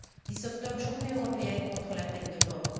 10 octobre, journée européenne contre la peine de mort.